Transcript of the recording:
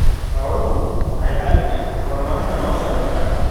Xooluhu waxay caawiyaan horumarinta nolosha dadka.